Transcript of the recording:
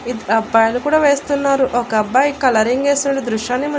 ఇద్ అబ్బాయిలు కూడా వేస్తున్నారు ఒక అబ్బాయి కలరింగ్ యేస్తుండు దృశ్యాన్ని మనం.